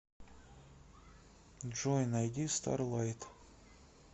джой найди старлайт